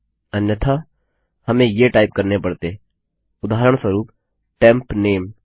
अन्यथा हमें ये टाइप करने पड़तेउदाहरणस्वरूप टेम्प नामे